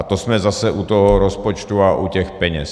A to jsme zase u toho rozpočtu a u těch peněz.